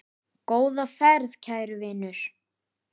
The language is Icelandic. Góða ferð, kæri vinur.